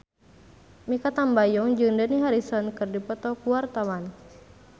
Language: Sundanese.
Mikha Tambayong jeung Dani Harrison keur dipoto ku wartawan